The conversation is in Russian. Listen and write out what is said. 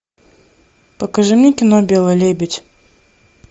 покажи мне кино белый лебедь